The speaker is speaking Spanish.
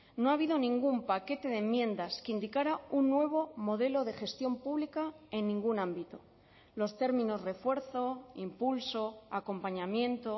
no ha habido ningún paquete de enmiendas que indicara un nuevo modelo de gestión pública en ningún ámbito los términos refuerzo impulso acompañamiento